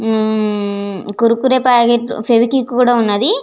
మ్మ్ మ్మ్ మ్మ్ కురుకురే ప్యాకెట్ ఫెక్విక్ కూడా వున్నది.